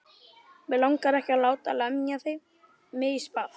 Mig langar ekki að láta lemja mig í spað.